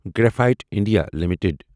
graphite India limited